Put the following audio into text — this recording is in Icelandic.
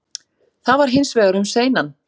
Það var hins vegar um seinan